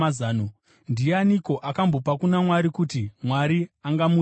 “Ndianiko akambopa kuna Mwari kuti Mwari angamuripirazve?”